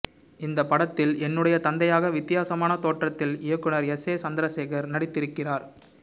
இந்த படத்தில் என்னுடைய தந்தையாக வித்தியாசமான தோற்றத்தில் இயக்குநர் எஸ் ஏ சந்திரசேகர் நடித்திருக்கிறார்